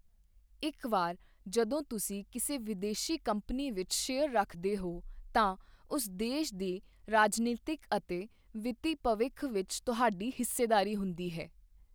ਇੱਕ ਵਾਰ ਜਦੋਂ ਤੁਸੀਂ ਕਿਸੇ ਵਿਦੇਸ਼ੀ ਕੰਪਨੀ ਵਿੱਚ ਸ਼ੇਅਰ ਰੱਖਦੇ ਹੋ ਤਾਂ ਉਸ ਦੇਸ਼ ਦੇ ਰਾਜਨੀਤਕ ਅਤੇ ਵਿੱਤੀ ਭਵਿੱਖ ਵਿੱਚ ਤੁਹਾਡੀ ਹਿੱਸੇਦਾਰੀ ਹੁੰਦੀ ਹੈ।